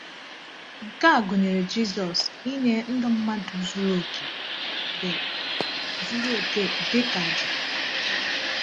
Nke a gụnyere Jizọs inye ndụ mmadụ zuru oke dị zuru oke dị ka àjà.